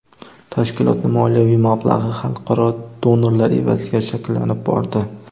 Tashkilotning moliyaviy mablag‘i xalqaro donorlar evaziga shakllanib bordi.